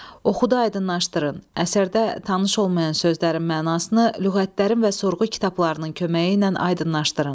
Oxuyub aydınlaşdırın, əsərdə tanış olmayan sözlərin mənasını lüğətlərin və sorğu kitablarının köməyi ilə aydınlaşdırın.